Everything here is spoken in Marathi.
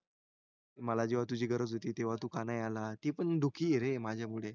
मला जेव्हा तुझी गरज होती तू तेव्हा का नाही आला ती पण दुखी आहे रे माझ्यामुळे